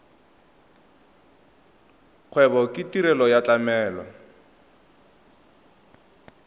kgwebo ke tirelo ya tlamelo